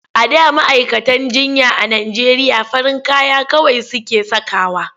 A da ma'aikatan jinya a Najeriya farin kaya kawai suke sakawa.